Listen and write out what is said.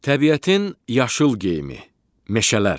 Təbiətin yaşıl geyimi, meşələr.